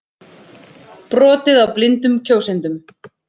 Brotið á blindum kjósendum